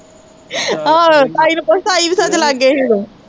ਆਹੋ ਤਾਈ ਨੂੰ ਪੁੱਛ, ਤਾਈ ਤੇ ਸੱਚ ਲਾਗੇ ਸੀ ਉਹਦੋ